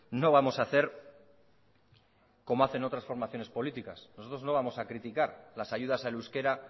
no vamos a hacer como hacen otras formaciones políticas nosotros no vamos a criticar las ayudas al euskera